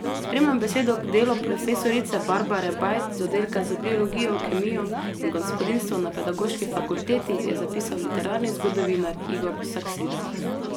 Spremno besedo k delu profesorice Barbare Bajd z oddelka za biologijo, kemijo in gospodinjstvo na Pedagoški fakulteti je zapisal literarni zgodovinar Igor Saksida.